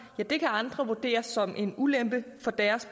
kan andre vurdere som en ulempe for deres